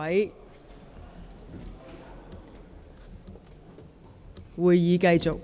現在會議繼續。